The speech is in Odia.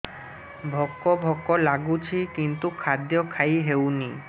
ଭୋକ ଭୋକ ଲାଗୁଛି କିନ୍ତୁ ଖାଦ୍ୟ ଖାଇ ହେଉନି